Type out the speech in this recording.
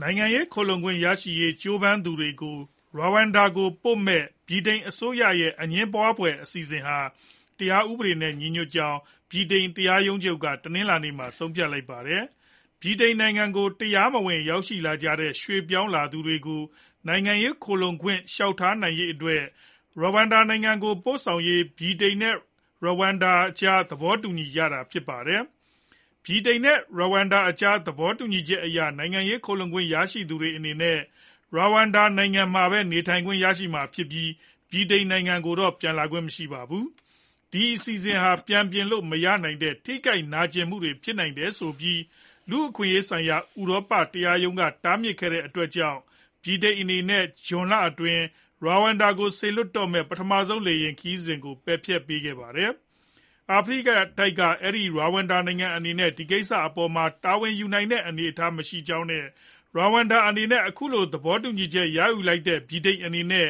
နိုင်ငံရေး ခိုလှုံခွင့်ရရေး ကြိုးပမ်းသူတွေကို ရဝမ်ဒါကို ပို့မယ့် ဗြိတိန် အစိုးရရဲ့ အငြင်းပွားဖွယ် အစီအစဉ်ဟာ တရားဥပဒေနဲ့ ညီညွတ်ကြောင်း ဗြိတိန် တရားရုံးချုပ်က တနလာၤနေ့မှာ ဆုံးဖြတ်လိုက်ပါတယ်။ ဗြိတိန်နိုင်ငံကို တရားမဝင် ရောက်ရှိလာကြတဲ့ ရွှေ့ပြောင်းတွေကို နိုင်ငံရေး ခိုလှုံခွင့် လျှောက်ထားနိုင်ရေး အတွက် ရဝမ်ဒါ နိုင်ငံကို ပို့ဆောင်ရေး ဗြိတိန်နဲ့ ရဝမ်ဒါကြား သဘောတူညီထားတာ ဖြစ်ပါတယ်။ ဗြိတိန်နဲ့ ရဝမ်ဒါ အကြား သဘောတူညီချက်အရ နိုင်ငံရေး ခိုလှုံခွင့် ရရှိသူတွေအနေနဲ့ Rwanda နိုင်ငံမှာပဲ နေထိုင်ခွင့်ရရှိမှာဖြစ်ပြီး ဗြိတိန်ကိုတော့ ပြန်လာခွင့်မရှိပါဘူး။ ဒီအစီအစဉ်ဟာ ပြန်ပြင်လို့ မရနိုင်တဲ့ ထိခိုက်နာကျည်မှုဖြစ်နိုင်တယ်ဆိုပြီး လူ့အခွင့်အရေးဆိုင်ရာ ဥရောပ တရားရုံးက တားမြစ်ခဲ့တဲ့ အတွက် ဗြိတိန်အနေနဲ့ ဇွန်လ အတွင်း Rwanda ကို စေလွှတ်တော့မဲ့ ပထမဆုံးလေယာဉ် ခရီးစဉ်ကို ပယ်ဖျက်ခဲ့ပါတယ်။ အာဖရိကတိုက်က အဲဒီ Rwanda နိုင်ငံအနေနဲ့ အဲဒီကိစ္စအပေါ်မှာ တာဝန်ယူနိုင်တဲ့ အနေအထားမရှိကြောင်း နဲ့ Rawanda နဲ့ အခုလို သဘောတူညီချက်ရယူလိုက်တဲ့ ဗြိတိန်အနေနဲ့